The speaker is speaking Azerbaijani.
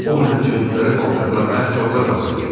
O mənim üçün müxtəlif paltarlar, ayaqqabılar hazırlayar.